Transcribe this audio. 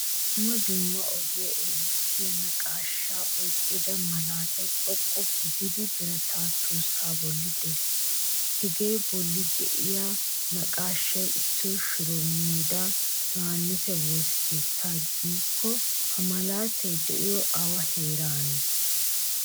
Dumma dumma ogiya erissiyaa naqaashsha oyqqida malaatay xoqqu gidda birata tuusa bolli de'ees. Hega bolli de'iyaa naqaashshappe issoy shuro meda, yohannisa woosa keettaa giiko ha malataay de'iyo awa heerane?